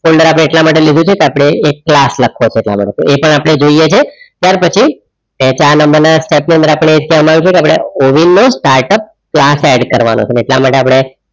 folder અપડે એટલા માટે લીધું છે અપડે એક ક્લાસ લખવા ચાલે એ પણ અપડે જોઇયે છે કર પછી સેટ નંબર અપડે ઓવિન નો startup ક્લાસ add કરવાનો